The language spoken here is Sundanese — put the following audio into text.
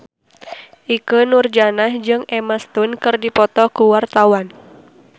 Ikke Nurjanah jeung Emma Stone keur dipoto ku wartawan